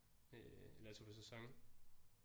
Eller jeg tog på sæson øh